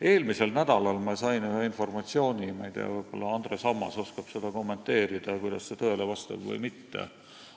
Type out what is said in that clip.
Eelmisel nädalal sain ma sellise informatsiooni, ma ei tea, võib-olla Andres Ammas oskab kommenteerida, kas see vastab tõele või mitte.